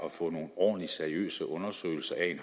at få nogle ordentlige seriøse undersøgelser af